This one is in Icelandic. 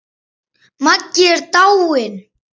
Maggi er dáinn!